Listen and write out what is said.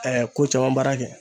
ko caman baara kɛ.